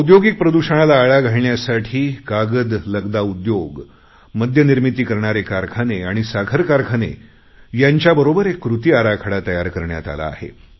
औद्योगिक प्रदूषणाला आळा घालण्यासाठी कागदलगदा उद्योग मद्यनिर्मिती करणारे कारखाने आणि साखर कारखाने यांच्याबरोबर एक कृती आराखडा तयार करण्यात आला आहे